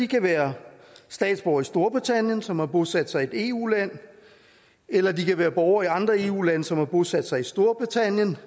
kan være statsborgere i storbritannien som har bosat sig i et eu land eller de kan være borgere i andre eu lande som har bosat sig i storbritannien